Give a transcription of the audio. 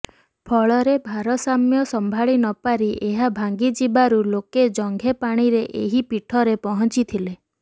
ଫଳରେ ଭାରସାମ୍ୟ ସମ୍ଭାଳି ନପାରି ଏହା ଭାଙ୍ଗିଯିବାରୁ ଲୋକେ ଜଙ୍ଘେ ପାଣିରେ ଏହି ପୀଠରେ ପହଞ୍ଚିଥିଲେ